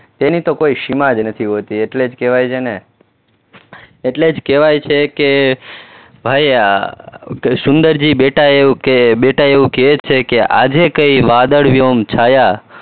તેની તો કોઈ સીમા જ નથી હોતી, એટલે જ કહેવાય છે ને એટલે જ કહેવાય છે કે ભાયા સુંદરજી બેટા એવું કે બેટા એવું કે છે કે આજે કઈ વાદળવ્યોમ છાયા